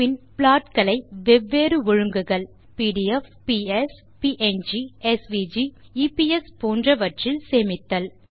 பின் plot களை வெவ்வேறு ஒழுங்குகள் PDF PS PNG SVG - EPS போன்றவற்றில் சேமித்தல்